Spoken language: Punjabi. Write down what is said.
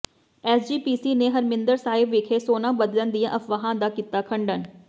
ਐਸਜੀਪੀਸੀ ਨੇ ਹਰਿਮੰਦਰ ਸਾਹਿਬ ਵਿਖੇ ਸੋਨਾ ਬਦਲਣ ਦੀਆਂ ਅਫਵਾਹਾਂ ਦਾ ਕੀਤਾ ਖੰਡਨ